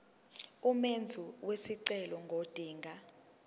umenzi wesicelo ngodinga